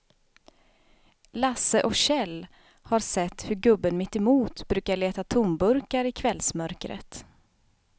Lasse och Kjell har sett hur gubben mittemot brukar leta tomburkar i kvällsmörkret.